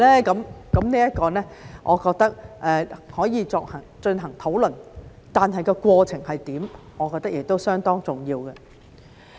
這個我認為可以進行討論，但過程是怎樣，我認為亦相當重要。